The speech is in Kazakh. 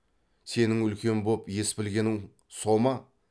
сенің үлкен боп ес білгенің со ма